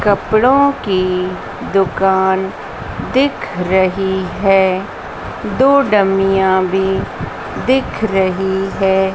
कपड़ों की दुकान दिख रही है। दो डमियां भी दिख रही है।